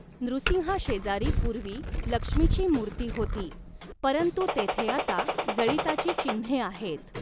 नृसिंहाशेजारी पूर्वी लक्ष्मीची मूर्ती होती परंतु तेथे आता जळिताची चिह्ने आहेत .